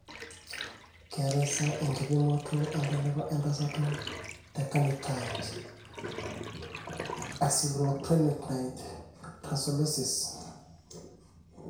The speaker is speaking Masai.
Keetae sa enkipimoto entalipa entasato tecarnitine acylcarnitine translocase?